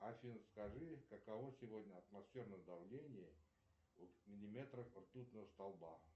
афина скажи каково сегодня атмосферное давление в миллиметрах ртутного столба